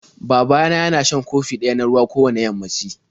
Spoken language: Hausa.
Baba na yana shan kofi Ƙ Ɓ Ɗ ɗaya na ruwan g